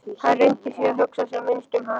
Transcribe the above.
Hann reyndi því að hugsa sem minnst um hana.